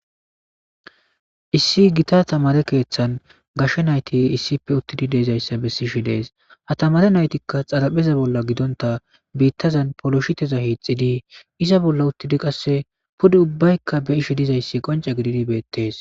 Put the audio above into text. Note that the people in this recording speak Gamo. Issi gita tamare keeththan gashshe nayti issippe uttidi deezayssa bessi shi dees ha tamare naytikka xalapheza bolla gidonta biittazan poloshiteza hiixxidii iza bolla uttidi qasse pude ubbaykka be ishe dizayssi qonce gididi beettees.